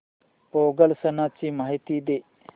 पोंगल सणाची माहिती दे